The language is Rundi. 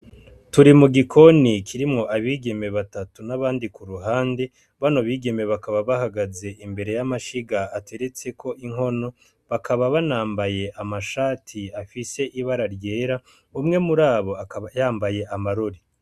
Turi mu gikoni kirimwo abigeme batatu na bandi ku ruhande. Bano bigeme bakaba bahagaze imbere y'amashiga ateretseko inkono, bakaba banambaye amashati afise ibara ryera. Umwe murabo akaba yambaye amarori.